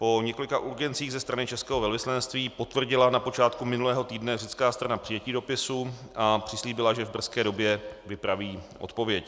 Po několika urgencích ze strany českého velvyslanectví potvrdila na počátku minulého týdne řecká strana přijetí dopisu a přislíbila, že v brzké době vypraví odpověď.